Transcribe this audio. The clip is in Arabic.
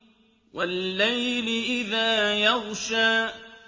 وَاللَّيْلِ إِذَا يَغْشَىٰ